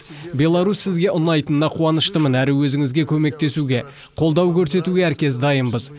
беларусь сізге ұнайтынына қуаныштымын әрі өзіңізге көмектесуге қолдау көрсетуге әркез дайынбыз